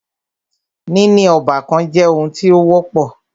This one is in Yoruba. Níní ọ́bàkan jẹ́ oun tí o wọ́pọ̀.